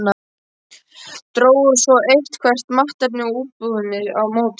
Drógu svo eitthvert mannkerti út úr íbúðinni á móti.